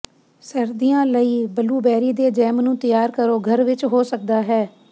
ਸਰਦੀਆਂ ਲਈ ਬਲੂਬੈਰੀ ਦੇ ਜੈਮ ਨੂੰ ਤਿਆਰ ਕਰੋ ਘਰ ਵਿਚ ਹੋ ਸਕਦਾ ਹੈ